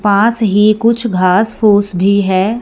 पास ही कुछ घांस फूस भी है।